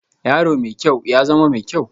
Yaro mai kyau, ya zama mai kyau